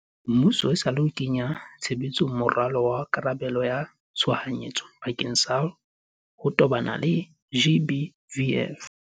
muso esale o kenya tshebetsong moralo wa karabelo ya tshohanyetso bakeng sa ho tobana le GBVF.